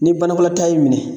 Ni banakɔta y'i minɛ